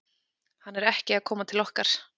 Hann er ekki að koma til okkar.